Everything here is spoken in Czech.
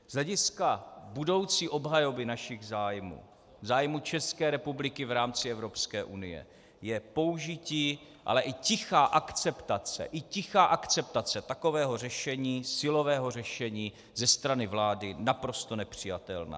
Z hlediska budoucí obhajoby našich zájmů, zájmu České republiky v rámci Evropské unie, je použití, ale i tichá akceptace, i tichá akceptace takového řešení, silového řešení ze strany vlády, naprosto nepřijatelná.